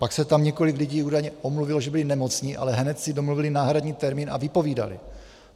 Pak se tam několik lidí údajně omluvilo, že byli nemocní, ale hned si domluvili náhradní termín a vypovídali.